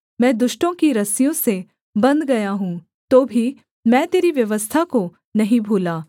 मैं दुष्टों की रस्सियों से बन्ध गया हूँ तो भी मैं तेरी व्यवस्था को नहीं भूला